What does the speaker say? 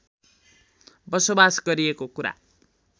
बसोबास गरिएको कुरा